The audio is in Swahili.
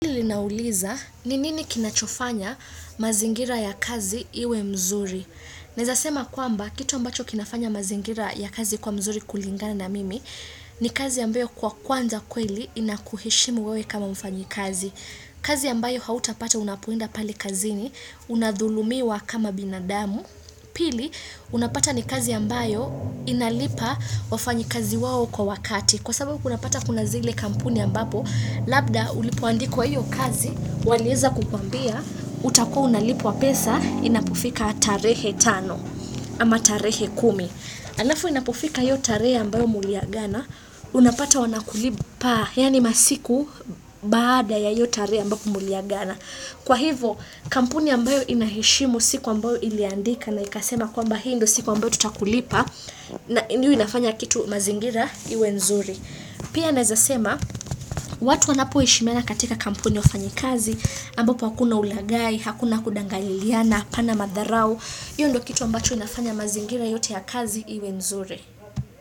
Ninauliza, ninini kinachofanya mazingira ya kazi iwe mzuri? Naezasema kwamba, kitu ambacho kinafanya mazingira ya kazi kwa mzuri kulingana na mimi ni kazi ambayo kwa kwanza kweli inakuheshimu wewe kama mfanyi kazi. Kazi ambayo hauta pata unapoenda pale kazini unadhulumiwa kama binadamu pili, unapata ni kazi ambayo inalipa wafanyi kazi wao kwa wakati kwa sababu kunapata kuna zile kampuni ambapo Labda ulipoandikwa hiyo kazi, walieza kukwambia, utakua unalipwa pesa, inapofika tarehe tano, ama tarehe kumi. Alafu inapofika hiyo tarehe ambayo muliagana, unapata wanakulipa, yani masiku baada ya hiyo tarehe ambayo muliagana. Kwa hivo, kampuni ambayo inaheshimu siku ambayo iliandika na ikasema kwamba hii ndio siku ambayo tutakulipa, na hiyo inafanya kitu mazingira iwe nzuri. Pia naezasema, watu wanapo heshimiana katika kampuni wafanyi kazi, ambapo hakuna ulagai, hakuna kudanganyiliana, hapana madharau, hiyo ndo kitu ambacho inafanya mazingira yote ya kazi iwe nzuri.